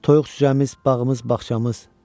Toyuq cücəmiz, bağımız, bağçamız.